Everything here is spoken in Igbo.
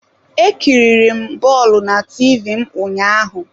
E kiriri m bọọlụ na TV m ụnyaahụ.